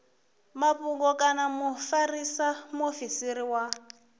mafhungo kana mufarisa muofisiri wa